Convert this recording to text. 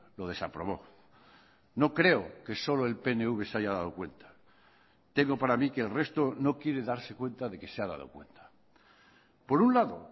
lo desaprobó no creo que solo el pnv se haya dado cuenta tengo para mí que el resto no quiere darse cuenta de que se ha dado cuenta por un lado